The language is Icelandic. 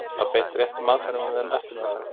Var beitt réttum aðferðum við eftirmeðferð?